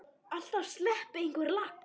Alltaf sleppi einhver lax.